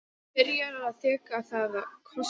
Byrjar að þekja það kossum.